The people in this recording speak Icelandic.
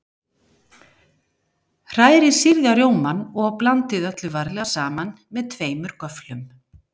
Hrærið sýrða rjómann og blandið öllu varlega saman með tveimur göfflum.